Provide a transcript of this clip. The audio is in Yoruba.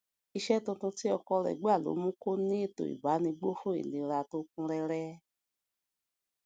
iṣé tuntun tí ọkọ rè gbà ló mú kó ní ètò ìbánigbófò ìlera tó kún réré